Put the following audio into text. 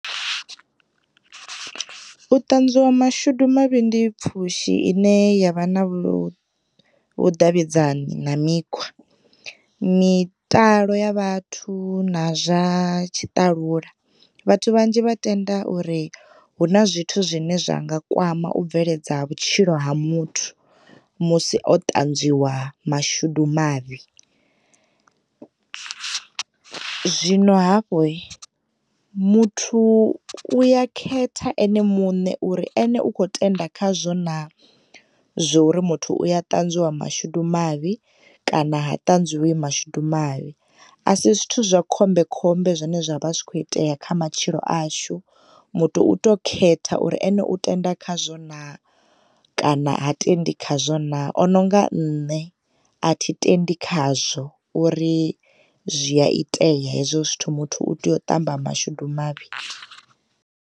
U ṱanzwiwa mashudu mavhi ndi pfhushi ine ya vha na vhuḓavhidzani na mikhwa mitalo ya vhathu na zwa tshiṱalula vhathu vhanzhi vha tenda uri hu na zwithu zwine zwa nga kwama vhutshilo ha muthu na u bvelela ha muthu musi o ṱanzwiwa mashudu mavhi. Zwino hafhu hi muthu u ya khetha ene mune uri u kho tenda khazwo na zwori muthu u ya ṱanzwiwa mashudu mavhi kana ha ṱanzwiwi mashudu mavhi, a si zwithu zwa khombekhombe zwane zwa vha zwi kho itea kha matshilo ashu muthu uto khetha uri ene u tenda khazwo na kana ha tendi khazwo na, o no nga nṋe a thi tendi khazwo uri zwi a itea hezwo zwithu muthu u tea u ṱamba mashudu mavhi.